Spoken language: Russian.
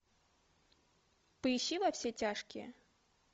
поищи во все тяжкие